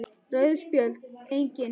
Rauð Spjöld: Engin.